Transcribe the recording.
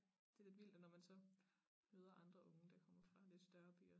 Det lidt vildt at når man så møder andre unge der kommer fra lidt større byer